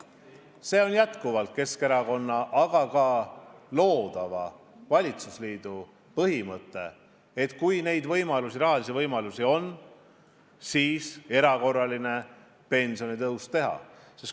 See on jätkuvalt Keskerakonna, aga ka loodava valitsusliidu põhimõte, et kui rahalisi võimalusi on, siis erakorraline pensionitõus tuleb.